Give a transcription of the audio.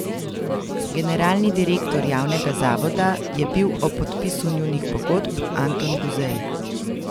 Generalni direktor javnega zavoda je bil ob podpisu njunih pogodb Anton Guzej.